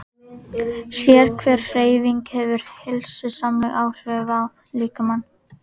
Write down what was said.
Sérhver hreyfing hefur heilsusamleg áhrif á líkamann.